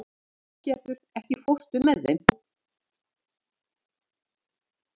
Álfgerður, ekki fórstu með þeim?